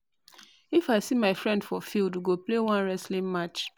if I see my friend for field, we go play one wrestling match